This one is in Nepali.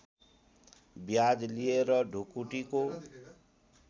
ब्याज लिएर ढुकुटीको